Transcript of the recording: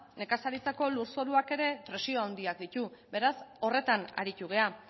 nekazaritzako lurzoruak ere presio handiak ditu beraz horretan aritu gara